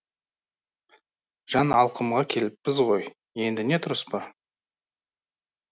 жан алқымға келіппіз ғой енді не тұрыс бар